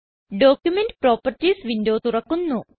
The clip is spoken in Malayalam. ഡോക്യുമെന്റ് പ്രോപ്പർട്ടീസ് വിൻഡോ തുറക്കുന്നു